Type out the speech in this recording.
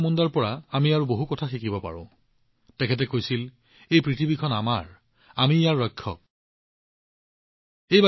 বন্ধুসকল যেতিয়া ধৰতি আবা বিৰচা মুণ্ডাৰ কথা আহে তেওঁৰ সংক্ষিপ্ত জীৱনকালটো প্ৰত্যক্ষ কৰোঁ আহক আজিও আমি তেওঁৰ পৰা বহুত শিকিব পাৰোঁ আৰু ধৰতি আবাই কৈছিল এই পৃথিৱীখন আমাৰ আমি ইয়াৰ ৰক্ষক